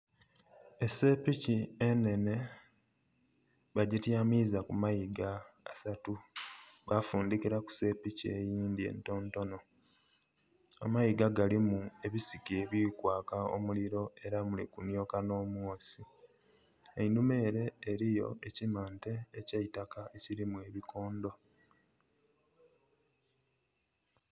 Esepiki enhenhe bagityamiza ku mayiga asatu bafundhikiraku sepiki eyindhi entontono, amayiga galimu ebisiki ebiri kwaaka omuliro era muli kunhyoka nh'omwosi, einhuma ere eriyo ekimante eky'eitaka ekirimu ebikondo.